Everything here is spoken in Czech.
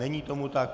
Není tomu tak.